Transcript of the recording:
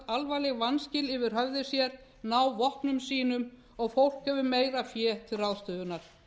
alvarleg vanskil yfir höfði sér ná vopnum sínum og fólk hefur meira fé til ráðstöfunar